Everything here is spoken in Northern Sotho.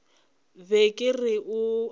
be ke re o a